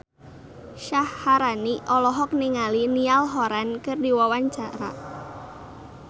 Syaharani olohok ningali Niall Horran keur diwawancara